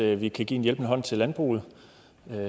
i at vi kan give en hjælpende hånd til landbruget